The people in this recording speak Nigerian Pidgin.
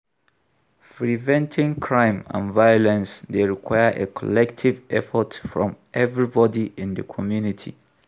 Preventing crime and violence dey require a collective effort from everybody in di community.